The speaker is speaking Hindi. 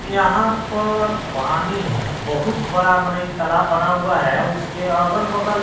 यहां पर पानी है बहुत बड़ा माने इ तालाब बना हुआ है उसके अगल बगल--